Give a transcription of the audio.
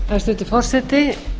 hæstvirtur forseti